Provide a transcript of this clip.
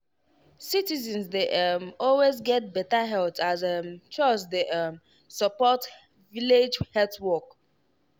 citizens dey um always get better health as um chws dey um support village health work.